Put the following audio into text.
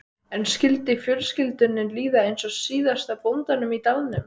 En skyldi fjölskyldunni líða eins og síðasta bóndanum í dalnum?